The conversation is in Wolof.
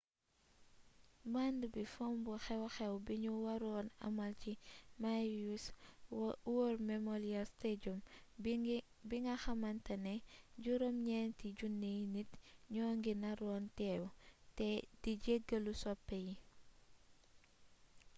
band bi fomb xew xew biñu waroon amal ci maui”s war memorial stadium bi nga xamantane 9,000 nit ñoo ci naroon teew te di jegalu soppe yi